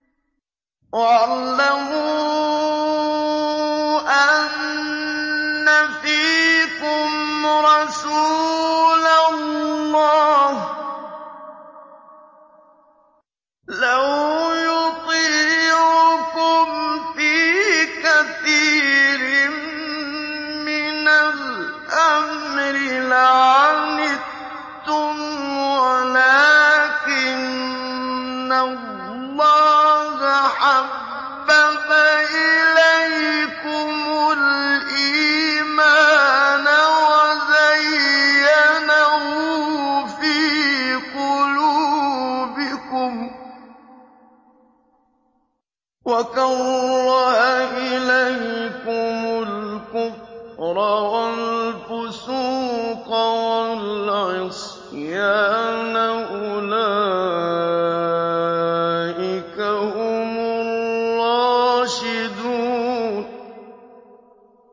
وَاعْلَمُوا أَنَّ فِيكُمْ رَسُولَ اللَّهِ ۚ لَوْ يُطِيعُكُمْ فِي كَثِيرٍ مِّنَ الْأَمْرِ لَعَنِتُّمْ وَلَٰكِنَّ اللَّهَ حَبَّبَ إِلَيْكُمُ الْإِيمَانَ وَزَيَّنَهُ فِي قُلُوبِكُمْ وَكَرَّهَ إِلَيْكُمُ الْكُفْرَ وَالْفُسُوقَ وَالْعِصْيَانَ ۚ أُولَٰئِكَ هُمُ الرَّاشِدُونَ